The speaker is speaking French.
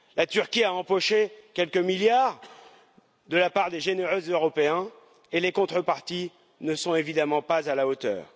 La Turquie a empoché quelques milliards de la part des généreux Européens, et les contreparties ne sont évidemment pas à la hauteur.